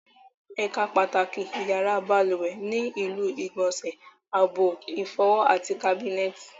Ẹ̀ka pàtàkì yàrá balùwẹ̀ ni ilu ìgbọ̀nsẹ̀, abọ́ ìfọwọ́, àti kábínẹ̀tì